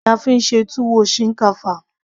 ìrẹsì ni a fí ń ṣe tuwo shinkafa